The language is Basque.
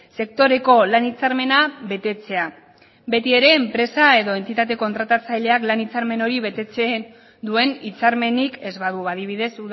sektoreko lan hitzarmena betetzea beti ere enpresa edo entitate kontratatzaileak lan hitzarmen hori betetzen duen hitzarmenik ez badu adibidez